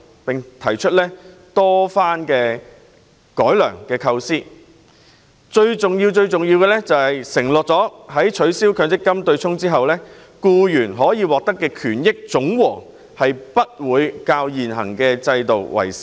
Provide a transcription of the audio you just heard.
我們多番提出改良構思，最重要是要求政府承諾在取消強積金對沖機制後，僱員可獲得的權益總和不比現行制度少。